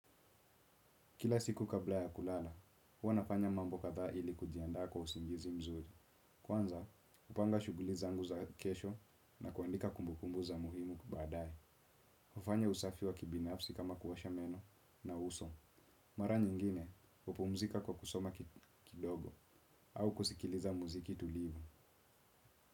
Kila siku kabla ya kulala, huwa nafanya mambo kadhaa ili kujiandaa kwa usingizi mzuri. Kwanza, kupanga shuguli zangu za kesho na kuandika kumbukumbu za muhimu kubadae. Hufanya usafi wa kibinafsi kama kuosha meno na uso. Mara nyingine, hupumzika kwa kusoma kidogo au kusikiliza muziki tulivu.